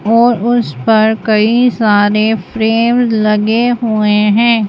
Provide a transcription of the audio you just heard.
और उस पर कई सारे फ्रेम लगे हुए हैं।